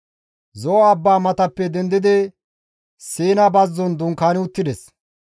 Zo7o abbaa matappe dendidi Siina bazzon dunkaani uttides.